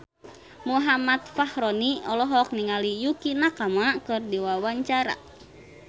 Muhammad Fachroni olohok ningali Yukie Nakama keur diwawancara